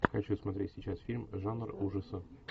хочу смотреть сейчас фильм жанр ужасы